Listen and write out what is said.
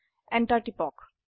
enter টিপক